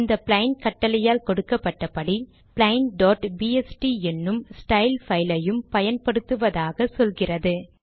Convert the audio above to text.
இந்த பிளெயின் கட்டளையால் கொடுக்கப்பட்டபடி plainபிஎஸ்டி என்னும் ஸ்டைல் பைல் லையும் பயன்படுத்துவதாக சொல்கிறது